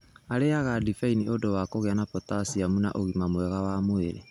Arĩaga ndibei nĩ ũndũ wa kũgĩa na potaciamu na ũgima mwega wa mwĩrĩ.